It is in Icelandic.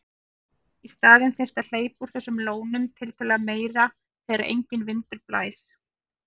Í staðinn þyrfti að hleypa úr þessum lónum tiltölulega meira þegar enginn vindur blæs.